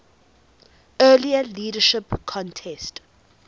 earlier leadership contest